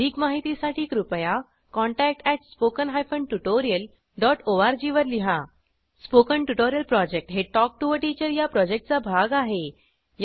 अधिक माहितीसाठी कृपया contact at spoken hyphen tutorial dot O R G वर लिहा स्पोकन ट्युटोरियल प्रॉजेक्ट हे टॉक टू टीचर या प्रॉजेक्टचा भाग आहे